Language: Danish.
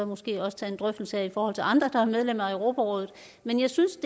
måske også tage en drøftelse af i forhold til andre der er medlem af europarådet men jeg synes